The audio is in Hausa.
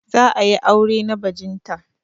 Za a yi aure na bajinta.